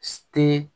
Te